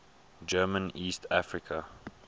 german east africa